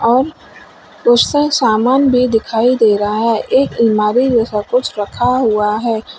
और उसका सामान भी दिखाई दे रहा है एक अलमारी जैसा कुछ रखा हुआ है।